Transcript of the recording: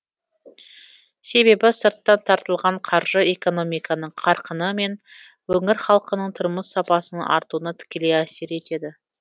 себебі сырттан тартылған қаржы экономиканың қарқыны мен өңір халқының тұрмыс сапасының артуына тікелей әсер етеді